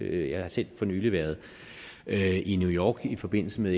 jeg har selv for nylig været i new york i forbindelse med